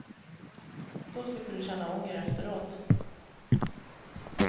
Då slipper du känna ånger efteråt.